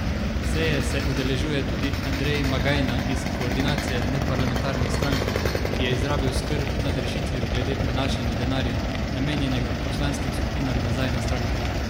Seje se udeležuje tudi Andrej Magajna iz Koordinacije neparlamentarnih strank, ki je izrazil skrb nad rešitvijo glede prenašanja denarja, namenjenega poslanskim skupinam, nazaj na stranke.